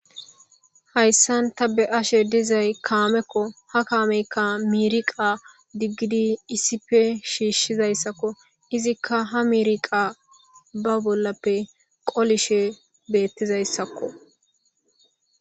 hayssan ta be ashe dizay kaamekko ha kaameyka miiriqa diggidi issife shiishshizayssakko izikka ha miiriqa ba bollappe qolishe beettizayssakko